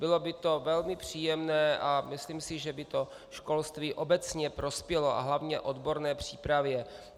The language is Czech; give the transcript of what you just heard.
Bylo by to velmi příjemné a myslím si, že by to školství obecně prospělo, a hlavně odborné přípravě.